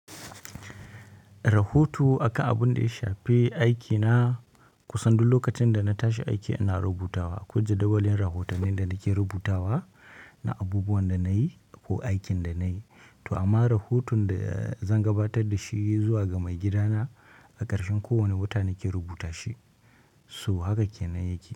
Rahoto akan abun da ya shafibaiki na, kusan duk lokacin da na tashi aiki ana rubutawa. Ko jadawalin rahotannin da nake rubutawa na abubuwan da na yi ko aikin da na yi. To amma rahoton da zan gabatar da shi zuwa ga maigidana a ƙarshen kowane wata nake rubuta shi. So haka ke nan yake.